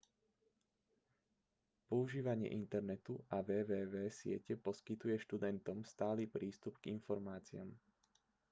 používanie internetu a www siete poskytuje študentom stály prístup k informáciám